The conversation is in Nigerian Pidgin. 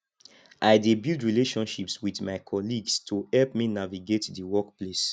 i dey build relationships with my colleagues to help me navigate di workplace